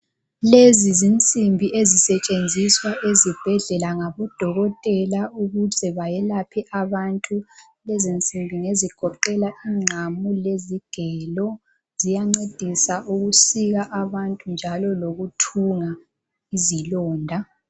Lezi zinsimbi ezisetshenziswa ezibhedlela ngabodokotela ukuze bayelaphe. Lezi nsimbi ngezigoqela ingqamu lezigelo ziyancedisa ukusika abantu njalo lokuthunga izilonda.